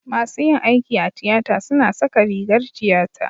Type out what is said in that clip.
masu yin aiki a tiyata suna saka rigar tiyata